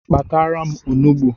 Kpatara m onugbu